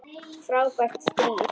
Frábært stríð!